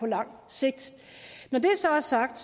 lang sigt når det så er sagt